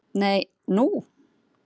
Nei, nú?